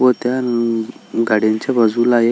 व त्या गाड्यांच्या बाजूला एक--